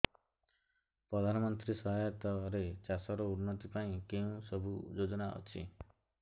ପ୍ରଧାନମନ୍ତ୍ରୀ ସହାୟତା ରେ ଚାଷ ର ଉନ୍ନତି ପାଇଁ କେଉଁ ସବୁ ଯୋଜନା ଅଛି